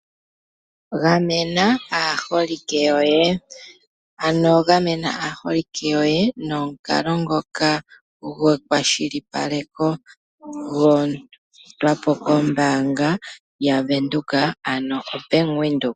Gamena aaholike yoye, ano gamena aaholike yoye nomukalo ngoka gwekwashilipaleko, gwa etwa po kombaanga yaVenduka ano oBank Windhoek.